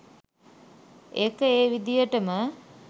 ඒක ඒ විදියටම